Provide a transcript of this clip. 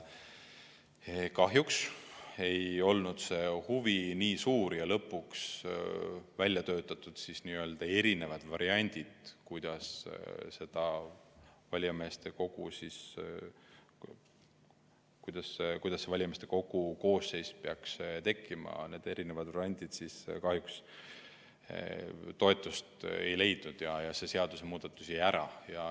Kahjuks ei olnud huvi nii suur ja lõpuks väljatöötatud variandid, kuidas valijameeste kogu koosseis peaks tekkima, need erinevad variandid, kahjuks toetust ei leidnud ja see seadusemuudatus jäi ära.